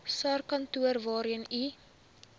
sarskantoor waarheen u